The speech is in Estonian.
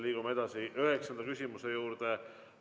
Liigume edasi üheksanda küsimuse juurde.